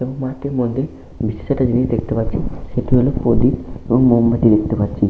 সেখানে একটি মন্দির। জিনিস দেখতে পাচ্ছি। সেটি হল প্রদীপ এবং মোমবাতি দেখতে পাচ্ছি।